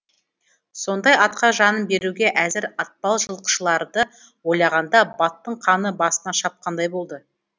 сондай атқа жанын беруге әзір атпал жылқышыларды ойлағанда баттың қаны басына шапқандай болды